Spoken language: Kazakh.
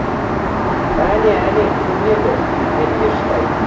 әне әне көрінеді деді ештай